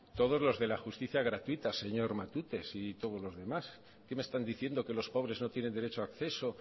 todos los de la justicia gratuita señor matute y todos los demás qué me están diciendo que los pobres no tienen derecho a acceso